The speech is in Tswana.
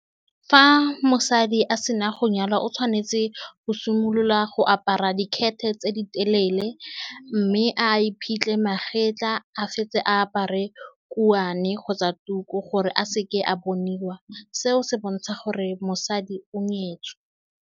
Fa mosadi a sena go nyalwa, o tshwanetse go simolola go apara dikete tse di telele, mme a iphitlhe magapetla. A fetse a apare kuane kgotsa tuku, gore a seke a boniwa. Seo se bontsha gore mosadi o nyetswe.